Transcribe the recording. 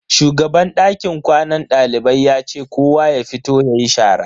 Shugaban dakin kwanan dalibai ya ce kowa ya fito yayi shara.